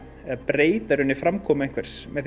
breyta í rauninni framkomu einhvers með